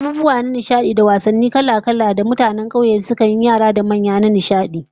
Akwai abubuwa na nishadi da wasalli kala-kala da mutanen kauye yara da manya sukan yi a dandali da sauran wurare